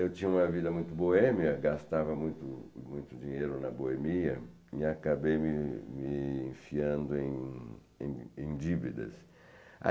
Eu tinha uma vida muito boêmia, gastava muito muito dinheiro na boemia e acabei me me enfiando em em em dívidas.